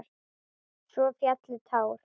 Svo féllu tár.